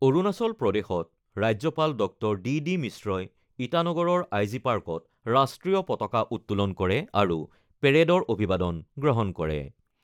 অৰুণাচল প্ৰদেশত ৰাজ্যপাল Dr DD মিশ্ৰই ইটানগৰৰ আই জি পাৰ্কত ৰাষ্টীয় পতাকা উত্তোলন কৰে আৰু পেৰেডৰ অভিবাদন গ্ৰহণ কৰে।